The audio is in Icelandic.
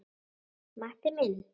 Matti minn.